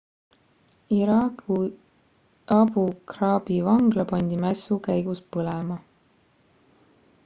iraagi abu ghraibi vangla pandi mässu käigus põlema